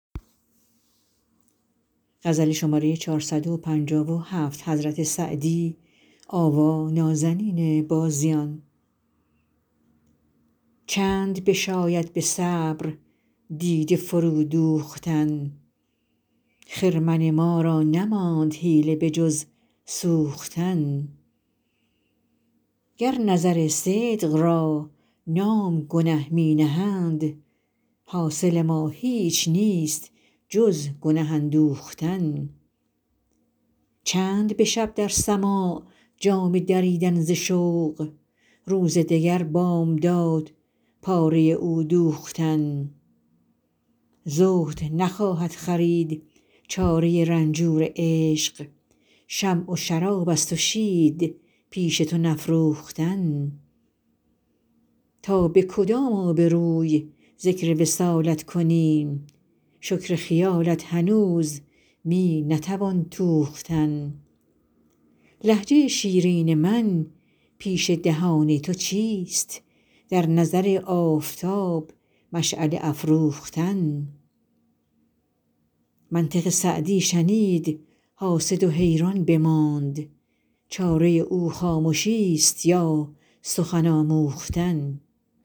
چند بشاید به صبر دیده فرو دوختن خرمن ما را نماند حیله به جز سوختن گر نظر صدق را نام گنه می نهند حاصل ما هیچ نیست جز گنه اندوختن چند به شب در سماع جامه دریدن ز شوق روز دگر بامداد پاره بر او دوختن زهد نخواهد خرید چاره رنجور عشق شمع و شراب است و شید پیش تو نفروختن تا به کدام آبروی ذکر وصالت کنیم شکر خیالت هنوز می نتوان توختن لهجه شیرین من پیش دهان تو چیست در نظر آفتاب مشعله افروختن منطق سعدی شنید حاسد و حیران بماند چاره او خامشیست یا سخن آموختن